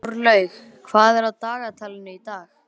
Jórlaug, hvað er á dagatalinu í dag?